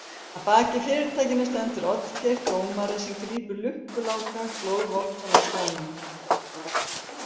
Að baki fyrirtækinu stendur Oddgeir dómari sem grípur Lukku Láka glóðvolgan á staðnum.